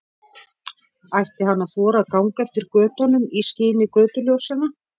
Ætti hann að þora að ganga eftir götunum í skini götuljósanna?